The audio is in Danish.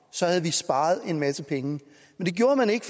så havde vi sparet en masse penge men det gjorde man ikke